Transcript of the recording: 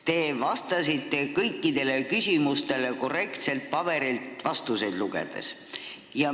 Te vastasite kõikidele küsimustele korrektselt paberilt vastuseid ette lugedes.